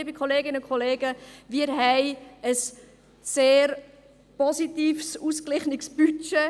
Liebe Kolleginnen und Kollegen, wir haben ein sehr positives, ausgeglichenes Budget.